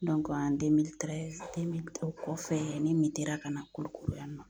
kɔfɛ ne ka na Kulikolo yan nɔ.